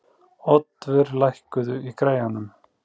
Oddvör, lækkaðu í græjunum.